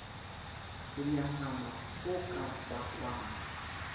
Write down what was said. ho nyahama ho ka bakwang